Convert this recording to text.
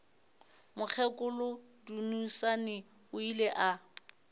mokgekolo dunusani o ile a